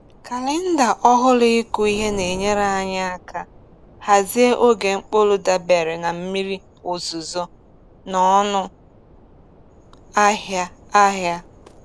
Kalenda ọhụrụ ịkụ ihe na-enyere anyị aka hazie oge mkpụrụ dabere na mmiri ozuzo na ọnụ ahịa ahịa.